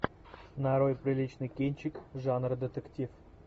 нарой приличный кинчик жанра детектив